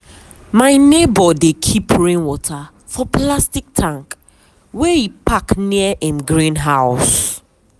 my neighbour dey keep rain water for plastic tank wey e pack near im greenhouse.